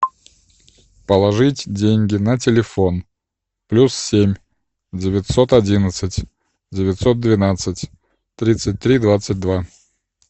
положить деньги на телефон плюс семь девятьсот одиннадцать девятьсот двенадцать тридцать три двадцать два